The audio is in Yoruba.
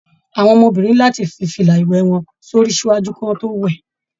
Àwọn ọmọbìnrin ni láti fí fila iwẹ wọn sórí ṣáájú kí wọn to wẹ.